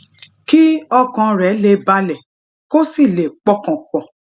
kí ọkàn rè lè balè kó sì lè pọkàn pò